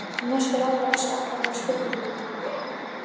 Norskur ráðherra sakaður um spillingu